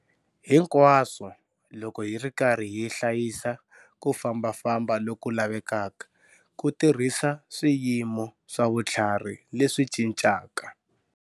Hinkwaswo loko hi ri karhi hi hlayisa ku fambafamba loku lavekaka ku tirhisa swiyimo swa vutlhari leswi cincaka.